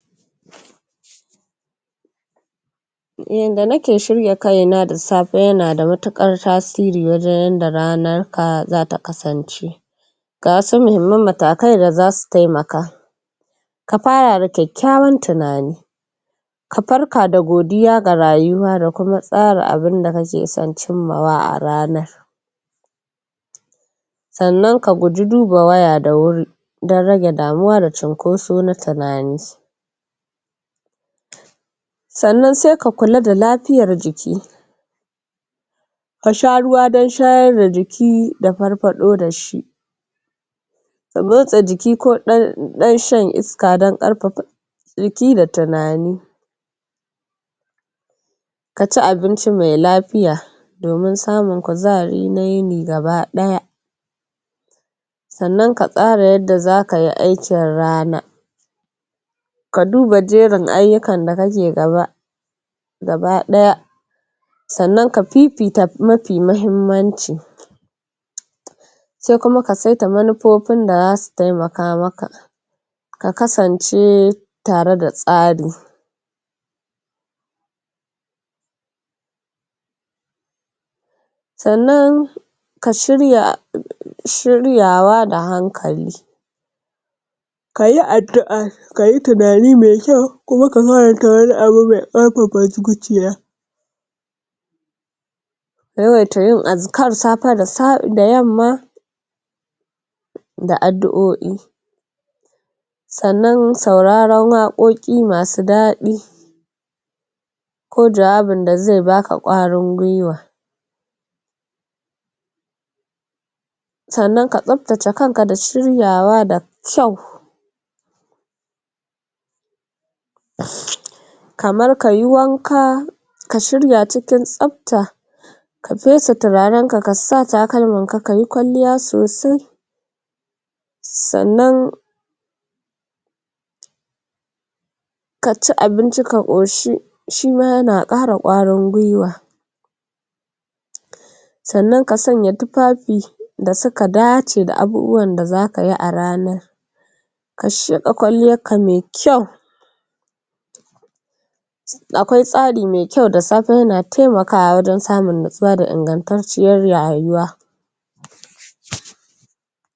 yanda nike shirya kaya na da safe yana da matuƙar tasiri wajen yadda ranar ka zata kasance ga wasu muhimman matakai da zasu temaka ka fara da kyakkyawan tunani ka tarka da godiya ga rayuwa da kuma tsara abunda kake son cimmawa a ranar sannan ka guji duba waya da wuri dan rage damuwa da cinkoso na tinani sannan se ka kula da lafiyar jiki ka sha ruwa dan shayar da jiki da farfaɗo da shi sannan motsa jiki ko ɗan shan iska dan ƙarfafa jiki da tunani ka ci abinci me lafiya domin samun kuzari na yini gaba ɗaya sannan ka tsara yanda zaka yi aikin rana ka duba jerin ayyukan da kake gaba gaba ɗaya sannan ka fifita mafi mahimmanci se kuma ka seta manufofin da zasu temaka maka ka kasance tare da tsari sannan ka shirya shiryawa da hankali kayi addu'a kayi tunani me kyau kuma ka yawaita yin azkar safe da yamma da adduo'i sannan sauraron waƙoƙi masu daɗi ko jawabin da ze baka ƙwarin gwiwa sannan ka tsabtace kanka da shiryawa da kyau kamar kayi wanka ka shirya cikin tsabta ka fesa turaren ka ka sa takalmanka kayi kwalliya sosai sannan ka ci abinci ka ƙoshi shima yana ƙara ƙwarin gwiwa sannan ka sanya tufafi da suka dace da abubuwan da zaka yi a ranar ka shuɗa kwalliyar ka me kyau akwai tsari me kyau da safe yana temakawa wajen samun natsuwa da ingantacciyar rayuwa